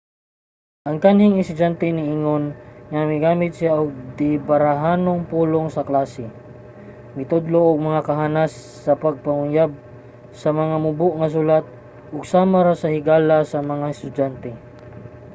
ang kanhing estudyante niingon nga 'migamit siya og dibarahanong pulong sa klase mitudlo og mga kahanas sa pagpanguyab sa mga mubo nga sulat ug sama ra nga higala sa mga estudyante.'